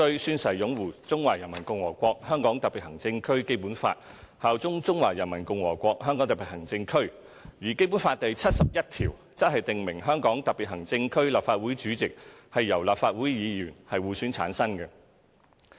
宣誓擁護中華人民共和國香港特別行政區基本法，效忠中華人民共和國香港特別行政區"。而《基本法》第七十一條則訂明"香港特別行政區立法會主席由立法會議員互選產生"。